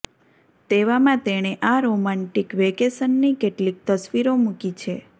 તેવામાં તેણે આ રોમાન્ટિક વેકેશનની કેટલીક તસવીરો મૂકી છે